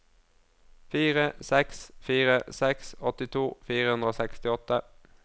fire seks fire seks åttito fire hundre og sekstiåtte